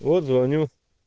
вот звоню